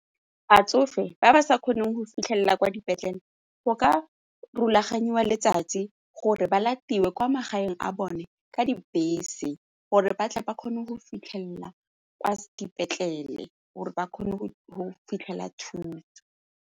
Batsofe ba ba sa kgoneng go fitlhelela kwa dipetlele go ka rulaganyiwa letsatsi gore ba latetswe kwa magaeng a bone ka dibese gore batle ba kgone go fitlhelela ka dipetlele gore ba kgone go fitlhelela thuso.